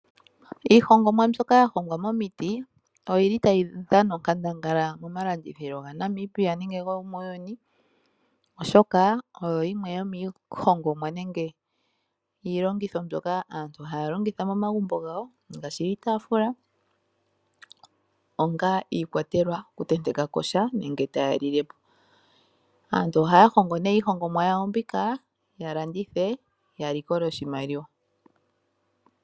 Iihongomwa mbyoka ya hongwa momiti oyi li tayi dhana onkandangala momalamditho ga Namibia nenge gomuuyuni. Oshoka oyo yimwe yo miihongomwa nenge yiiongithwa mbyoka aantu haya longitha momagumbo gawo. Ngaashi iikwatelwa, onga iikwatelwa okutenteka ko sha nenge taya lile mo. Aantu haya hongo nee iihongomwa yawo mbika ya landithe, ya likole oshimaliwa.